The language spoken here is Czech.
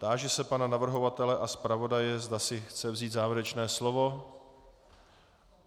Táži se pana navrhovatele a zpravodaje, zda si chtějí vzít závěrečné slovo.